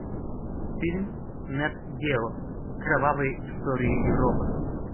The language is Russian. фильм нэт гео кровавые истории европы